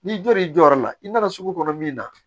N'i jɔr'i jɔyɔrɔ la i nana sugu kɔnɔ min na